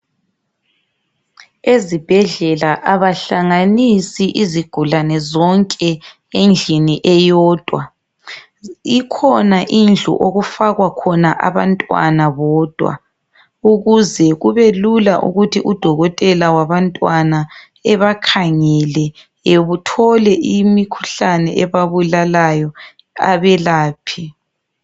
Ezibhedlela abahlanganisi izigulane zonke endlini eyodwa. Ikhona indlu okufakwa khona abantwana bodwa, ukuze kubelula ukuthi udokotela wabantwana ebakhangele ethole imkhuhlane ebabulalayo abelaphe.